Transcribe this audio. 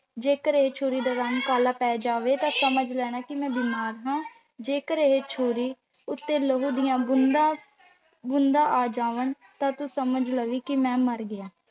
ਜੇਕਰ ਇਹ ਛੁਰੀ ਦਾ ਰੰਗ ਕਾਲਾ ਪੈ ਜਾਵੇ ਤਾਂ ਸਮਝ ਲੈਣਾ ਕਿ ਮੈਂ ਬਿਮਾਰ ਹਾਂ ਜੇਕਰ ਇਹ ਛੁਰੀ ਉੱਤੇ ਲਹੂ ਦੀਆਂ ਬੂੰਦਾਂ ਆ ਜਾਵਣ ਤਾਂ ਤੂੰ ਸਮਝ ਲਵੀ ਕਿ ਮੈਂ ਮਰ ਗਿਆ।